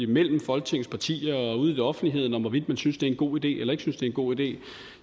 mellem folketingets partier og ude i offentligheden om hvorvidt man synes det er en god idé eller ikke synes det er en god idé